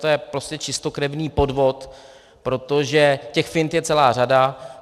To je prostě čistokrevný podvod, protože těch fint je celá řada.